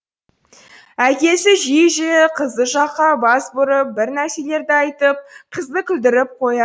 әкесі жиі жиі қызы жаққа бас бұрып бір нәрселерді айтып қызды күлдіріп қоя